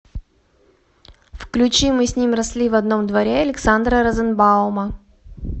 включи мы с ним росли в одном дворе александра розенбаума